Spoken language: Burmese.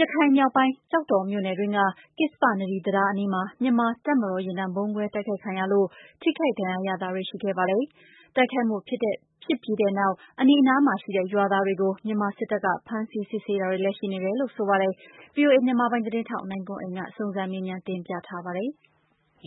ရခိုင်မြောက်ပိုင်း ကျောက်တော်မြို့နယ်တွင်းက ကစ္ဆပနဒီ တံတားအနီးမှာ မြန်မာတပ်မတော် ယာဉ်တန်း ဗုံးခွဲ တိုက်ခိုက်ခံရလို့ ထိခိုက်ဒဏ်ရာရမှုတွေ ရှိခဲ့ပါတယ်။ တိုက်ခိုက်မှုဖြစ်ပြီးတဲ့နောက် အနီးအနားမှာရှိတဲ့ ရွာသားတွေကို မြန်မာစစ်တပ်က ဖမ်းဆီး စစ်ဆေးတာတွေလည်း ရှိနေတယ်လို့ သိရပါတယ်။ ဗွီအိုအေ မြန်မာပိုင်း သတင်းထောက် ကိုနိုင်ကွန်းအိန် စုံစမ်းမေးမြန်းထားပါတယ်။